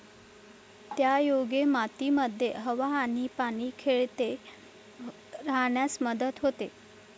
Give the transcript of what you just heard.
त्यायोगे मातीमध्ये हवा आणि पाणी खेळते राहण्यास मदत होते.